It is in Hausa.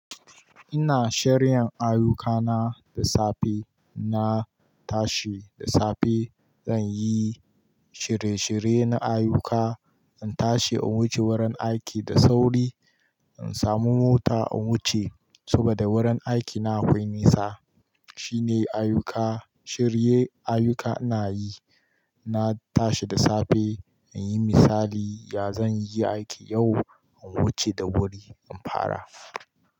Ina shairya ayyuka na da safe, na tashi da safe, zan yi shirye shirye na ayyuka, in tashi in wuce wurin aiki da sauri, in samu mota in wuce saboda wurin aiki na akwai nisa. Shine ayyuka, shirye ayyuka ina yi, na tashi da safe in yi misali, ya zan yi aiki yau, in wuce da wuri in fara.